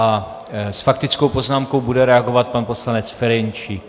A s faktickou poznámkou bude reagovat pan poslanec Ferjenčík.